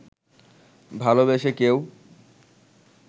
ভালোবেসে কেউ